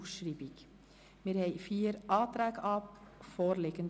Wir haben vier Anträge vorliegend.